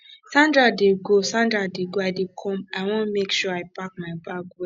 sandra dey go sandra dey go i dey come i wan make sure i pack my bag well